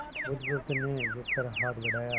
बुधगुप्त ने झुककर हाथ बढ़ाया